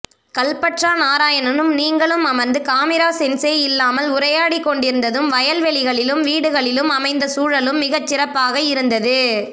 கல்பற்றா நாராயணனும் நீங்களும் அமர்ந்து காமிரா சென்ஸே இல்லாமல் உரையாடிக்கொண்டிருந்ததும் வயல்வெளிகளிலும் வீடுகளிலும் அமைந்த சூழலும் மிகச்சிறப்பாக இருந்தது